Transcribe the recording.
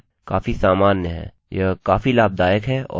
हमारे पास यहाँ 25 अक्षरोंकैरेक्टर्स की लंबाई हो सकती है